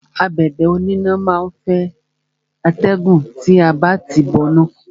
Abẹ̀bẹ̀ oníná má á ń fẹ́ atẹ́gùn tí a bá ti tìí bọ iná.